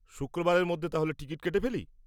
শুক্রবারের মধ্যে তাহলে টিকিট কেটে ফেলি?